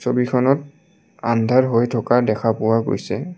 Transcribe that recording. ছবিখনত আন্ধাৰ হৈ থকা দেখা পোৱা গৈছে।